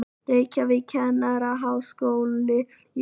Reykjavík, Kennaraháskóli Íslands.